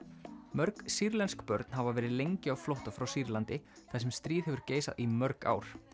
mörg sýrlensk börn hafa verið lengi á flótta frá Sýrlandi þar sem stríð hefur geisað í mörg ár